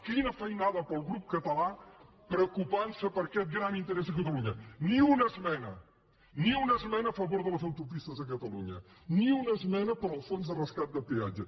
quina feinada per al grup català preocupant se per aquest gran interès a catalunya ni una esmena ni una esmena a favor de les autopistes a catalunya ni una esmena per al fons de rescat de peatge